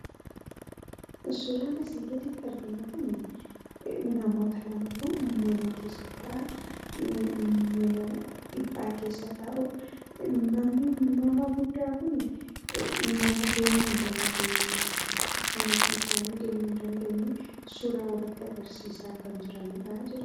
Suuraan asii gaditti arginu kun namoota lamatu mana keessa taa'aa. Mana dhiphaa keessa ta'uu. Nama guddaa kun deemuun hin dandeenye kan ofii isaanii deemuun dandeenye suuraa walitti agarsiisaa kan jiraniidha.